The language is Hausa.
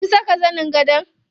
Kin saka zanin gado?